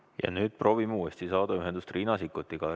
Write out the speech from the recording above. Ja nüüd proovime uuesti saada ühendust Riina Sikkutiga.